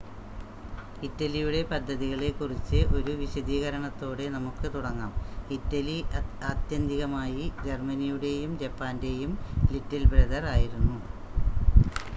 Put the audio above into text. "ഇറ്റലിയുടെ പദ്ധതികളെക്കുറിച്ച് ഒരു വിശദീകരണത്തോടെ നമുക്ക് തുടങ്ങാം.ഇറ്റലി ആത്യന്തികമായി ജർമ്മനിയുടെയും ജപ്പാന്റെയും "ലിറ്റിൽ ബ്രദർ" ആയിരുന്നു.